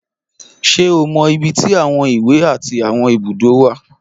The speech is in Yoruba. Ṣé o mọ ibi tí àwọn ìwé àti àwọn ibùdó wà?